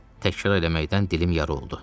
Təkrar eləməkdən dilim yarı oldu.